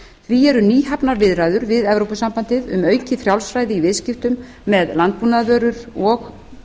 því eru nýhafnar viðræður við evrópusambandið um aukið frjálsræði í viðskiptum með landbúnaðarvörur og